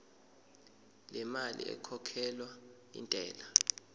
lemali ekhokhelwa intela